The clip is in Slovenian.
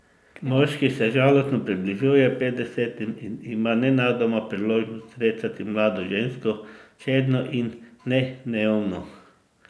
Moški se žalostno približuje petdesetim in ima nenadoma priložnost srečati mlado žensko, čedno in ne neumno.